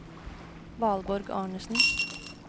Valborg Arnesen